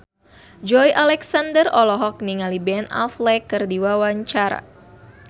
Joey Alexander olohok ningali Ben Affleck keur diwawancara